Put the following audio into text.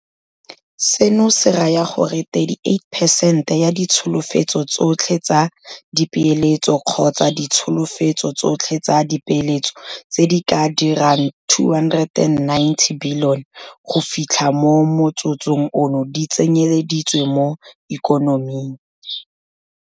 Seno se raya gore 38 peresente ya ditsholofetso tsotlhe tsa dipeeletso kgotsa ditsholofetso tsotlhe tsa dipeeletso tse di ka dirang R290 bilione go fitlha mo motsotsong ono di tsenyele ditswe mo ikonoming.